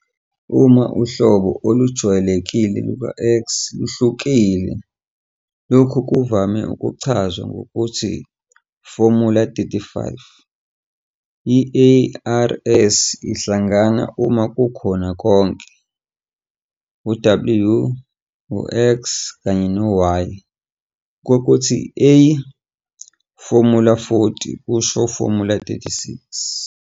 Uma uhlobo olujwayelekile luka- "x" luhlukile, lokhu kuvame ukuchazwa ngokuthi formula_35. I-ARS ihlangana uma kukho konke u- "w", "x", kanye no- "y" kokuthi "A", formula_40 kusho formula_36.